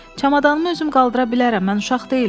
Çamadanımı özüm qaldıra bilərəm, mən uşaq deyiləm.